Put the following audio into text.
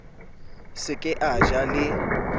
se ke a ja le